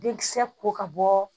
Denkisɛ ko ka bɔ